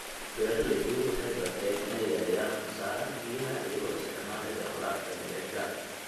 Beeraleydu waxay barteen inay yareeyaan khasaaraha biyaha iyagoo isticmaalaya waraabka dhibicda.